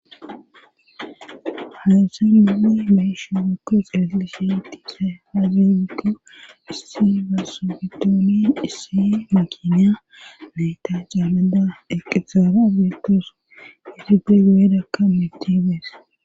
Hasse nine mahishe guke xeslisheti se hazeggo issiy gassofitooniye issiy ma kinya nayta caameda eqixaara betos isi ge goedakka mitibes.